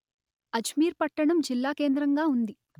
అజ్మీర్ పట్టణం జిల్లాకేంద్రంగా ఉంది